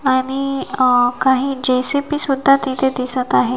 आणि अ काही जेसीबी सुद्धा तिथे दिसत आहे.